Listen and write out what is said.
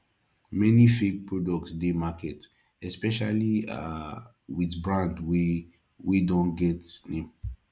many fake products de market especially um with brand wey wey don get name